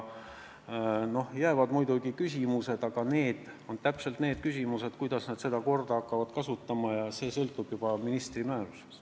Noh, jäävad muidugi mingid küsimused, aga need on selle kohta, kuidas seda korda hakatakse kasutama, ja see sõltub juba ministri määrusest.